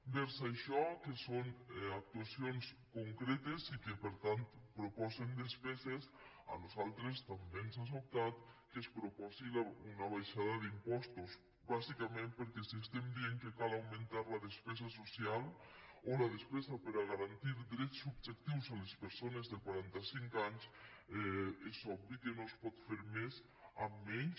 vers això que són actuacions concretes i que per tant proposen despeses a nosaltres també ens ha sobtat que es proposi una abaixada d’impostos bàsicament perquè si estem dient que cal augmentar la despesa social o la despesa per a garantir drets subjectius a les persones de quaranta cinc anys és obvi que no es pot fer més amb menys